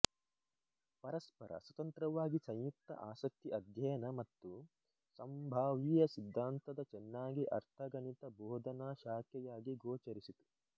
ಪರಸ್ಪರ ಸ್ವತಂತ್ರವಾಗಿ ಸಂಯುಕ್ತ ಆಸಕ್ತಿ ಅಧ್ಯಯನ ಮತ್ತು ಸಂಭಾವ್ಯ ಸಿದ್ಧಾಂತದ ಚೆನ್ನಾಗಿ ಅರ್ಥ ಗಣಿತ ಭೋದನಾ ಶಾಖೆಯಾಗಿ ಗೋಚರಿಸಿತು